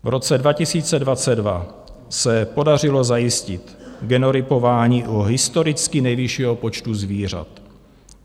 V roce 2022 se podařilo zajistit genotypování u historicky nejvyššího počtu zvířat.